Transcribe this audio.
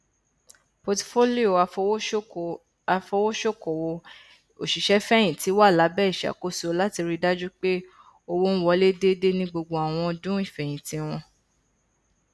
pọtifolio afowosokowo òṣìṣẹfẹyìntì wà lábẹ ìṣàkóso láti rí dájú pé owó n wọlé déédé ni gbogbo àwọn ọdún ìfẹyìntì wọn